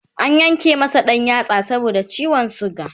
an Yanke masa ɗan yatsa saboda ciwon suga